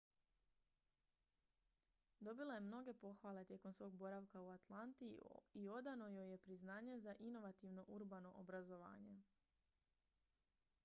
dobila je mnoge pohvale tijekom svog boravka u atlanti i odano joj je priznanje za inovativno urbano obrazovanje